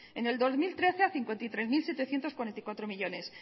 en el dos mil trece a cincuenta y tres mil setecientos cuarenta y cuatro millónes